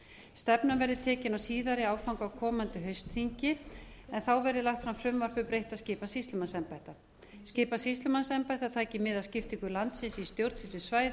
stefnan verði tekin á síðari áfanga á komandi haustþingi verði lagt fram frumvarp um breytta skipan sýslumannsembætta skipan sýslumannsembætta tali mið af skiptingu landsins í stjórnsýslusvæði